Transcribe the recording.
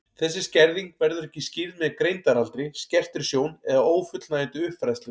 Þessi skerðing verður ekki skýrð með greindaraldri, skertri sjón eða ófullnægjandi uppfræðslu.